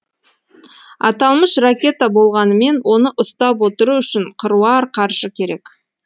аталмыш ракета болғанымен оны ұстап отыру үшін қыруар қаржы керек